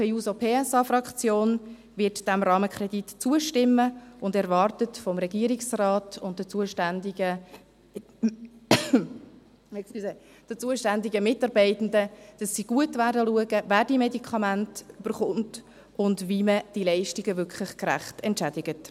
Die SP-JUSO-PSA-Fraktion wird dem Rahmenkredit zustimmen und erwartet vom Regierungsrat und den zuständigen Mitarbeitenden, dass sie gut hinschauen, wer die Medikamente bekommt und wie man diese Leistungen wirklich gerecht entschädigt.